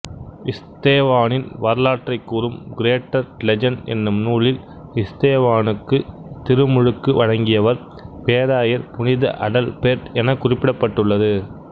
இஸ்தேவானின் வரலாற்றைக் கூறும் greater legend எனும் நூலில் இஸ்தோவானுக்க்கு திருமுழுக்கு வழங்கியவர் பேராயர் புனித அடல்பேர்ட் என குறிப்பிடப்பட்டுள்ளது